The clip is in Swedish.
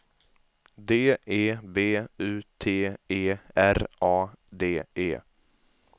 D E B U T E R A D E